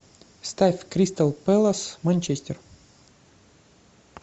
ставь кристал пэлас манчестер